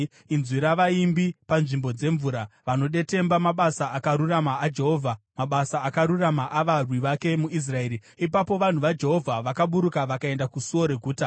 inzwi ravaimbi panzvimbo dzemvura. Vanodetemba mabasa akarurama aJehovha, Mabasa akarurama avarwi vake muIsraeri. “Ipapo vanhu vaJehovha vakaburuka vakaenda kusuo reguta.